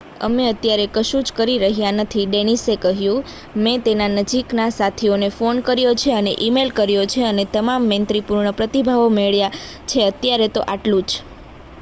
"""અમે અત્યારે કશું જ કરી રહ્યા નથી ડેનિસે કહ્યું. મેં તેના નજીકના સાથીને ફોન કર્યો છે અને ઈ-મેઈલ કર્યો છે અને તમામ મૈત્રીપૂર્ણ પ્રતિભાવો મળ્યા છે. અત્યારે તો આ ટલું જ.""